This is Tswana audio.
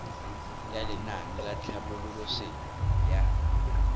ya lenaane la tlhabololosewa ya